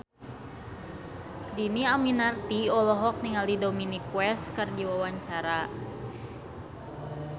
Dhini Aminarti olohok ningali Dominic West keur diwawancara